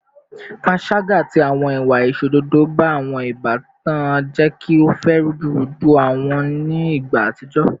Panṣaga ati awọn iwa aiṣododo ba awọn ibatan jẹ ki o fa rudurudu awujọ ni igba atijọ